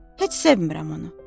Heç sevmirəm onu.